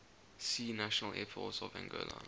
see national air force of angola